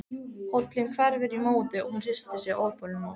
Hóllinn hverfur í móðu og hún hristir sig óþolinmóð.